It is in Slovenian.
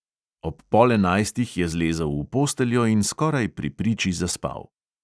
Ob pol enajstih je zlezel v posteljo in skoraj pri priči zaspal.